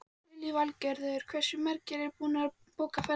Lillý Valgerður: Hversu margir eru búnir að bóka ferðir núna?